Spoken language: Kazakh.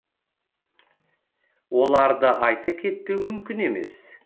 оларды айта кетпеу мүмкін емес